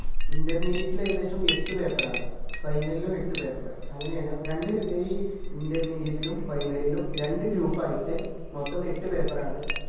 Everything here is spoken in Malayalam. intermediate ലു ഏകദേശം എട്ട് paper ആണ് final ലു എട്ടു paper അങ്ങനെ ആണേ രണ്ട് ഈ Intermediate ലും final ലും രണ്ട് group ആയിട്ട് മൊത്തം എട്ടു paper ആണ്